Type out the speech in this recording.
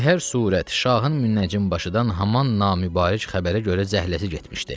Be hər surət, şahın münnəcim başıdan haman namübarək xəbərə görə zəhləsi getmişdi.